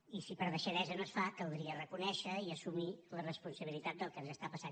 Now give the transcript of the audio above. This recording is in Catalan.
i si per deixadesa no es fa caldria reconèixer i assumir la responsabilitat del que ens està passant